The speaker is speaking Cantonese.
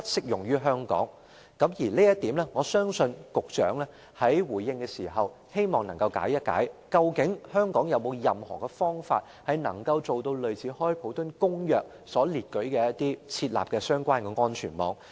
而有關這一點，我希望局長在回應時能夠解釋一下，究竟香港能否提供類似《公約》所列舉的相關安全網。